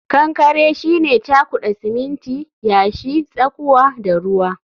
kankare shine cakuda siminti, yashi, tsakuwa da ruwa